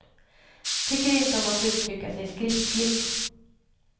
Tycker inte om att uttrycka sig skriftligt.